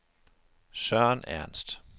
Søren Ernst